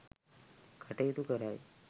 කටයුතු කරයි.